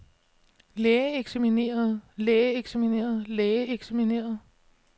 lægeeksaminerede lægeeksaminerede lægeeksaminerede